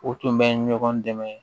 O tun bɛ ɲɔgɔn dɛmɛ